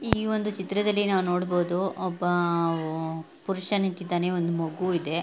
ಈ ಒಂದು ಚಿತ್ರದ್ಲಲಿ ನಾವು ನೋಡಬಹುದು ಒಬ್ಬ ಪುರುಷ ನಿಂತಿದ್ದಾನೆ ಒಂದು ಮಗು ಇದೆ .